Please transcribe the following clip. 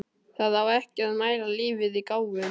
Það á ekki að mæla lífið í gáfum.